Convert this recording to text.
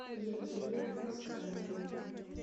евгения астанина